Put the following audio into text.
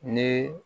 Ni